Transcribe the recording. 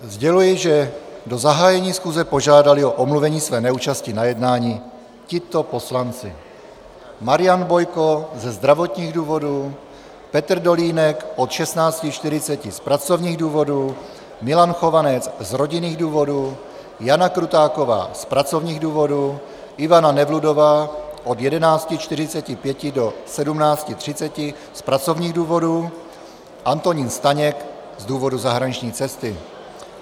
Sděluji, že do zahájení schůze požádali o omluvení své neúčasti na jednání tito poslanci: Marian Bojko ze zdravotních důvodů, Petr Dolínek od 16.40 z pracovních důvodů, Milan Chovanec z rodinných důvodů, Jana Krutáková z pracovních důvodů, Ivana Nevludová od 14.45 do 17.30 z pracovních důvodů, Antonín Staněk z důvodu zahraniční cesty.